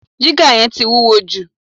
Jígà yẹn ti wúwo jù